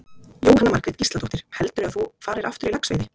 Jóhanna Margrét Gísladóttir: Heldurðu að þú farir aftur í laxveiði?